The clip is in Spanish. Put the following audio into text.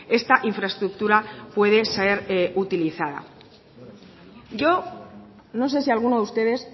esta infraestructura puede ser utilizada yo no sé si alguno de ustedes